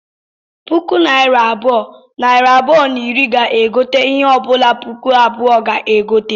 Puku naira abụọ, nari abụọ na iri ga-egote ihe ọbụla puku abụọ ga-egote